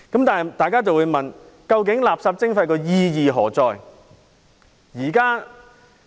但是，大家會問：究竟垃圾徵費意義何在？